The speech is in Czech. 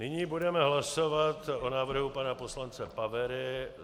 Nyní budeme hlasovat o návrhu pana poslance Pavery.